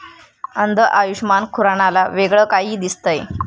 अंध आयुषमान खुरानाला वेगळं काही दिसतंय!